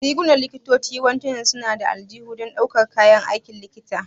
Rigunan likitoci yawanci suna da aljihu don ɗaukar kayan aikin likita.